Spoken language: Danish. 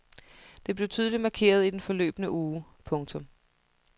Det blev tydeligt markeret i den forløbne uge. punktum